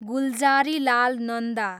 Gulzarilal Nanda